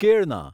કેળના